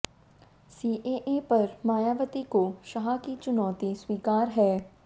CAA पर मायावती को शाह की चुनौती स्वीकार है